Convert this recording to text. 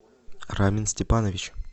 рамин степанович